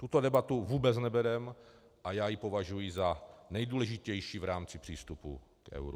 Tuto debatu vůbec nevedeme a já ji považuji za nejdůležitější v rámci přístupu k euru.